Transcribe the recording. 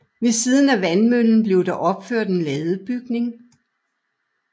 Ved siden af vandmøllen blev der opført en ladebygning